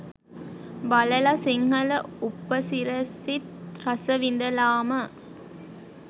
බලල සිංහල උපසිරැසිත් රස විඳලාම